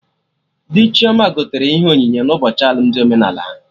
Dị Chioma gotere ya ihe onyinye n'ụbọchị alụmdi omenala ha